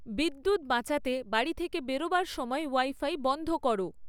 বিদ্যুৎ বাঁচাতে বাড়ি থেকে বেরোবার সময় ওয়াইফাই বন্ধ করো